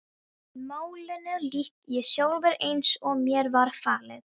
En málinu lýk ég sjálfur, eins og mér var falið.